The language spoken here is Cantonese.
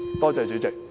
多謝主席。